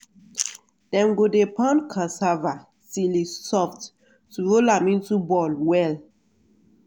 dem go dey pound cassava till e soft to roll am into ball well.